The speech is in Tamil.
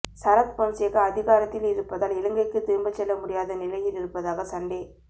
சரத் பொன்சேகா அதிகாரத்திலிருப்பதால் இலங்கைக்குத் திரும்பிச் செல்ல முடியாத நிலையிலிருப்பதாக சண்டே